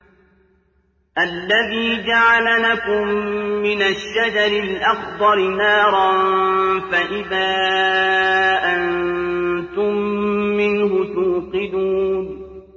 الَّذِي جَعَلَ لَكُم مِّنَ الشَّجَرِ الْأَخْضَرِ نَارًا فَإِذَا أَنتُم مِّنْهُ تُوقِدُونَ